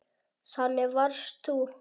Þannig varst þú.